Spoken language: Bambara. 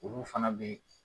Olu fana be